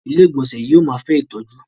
Ilé-ìgbọnsẹ̀ yóò máa fẹ́ ìtọ́jú.